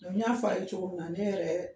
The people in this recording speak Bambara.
y'a fa ye cogo min ne yɛrɛ